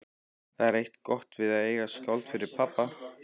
Það er eitt gott við að eiga skáld fyrir pabba.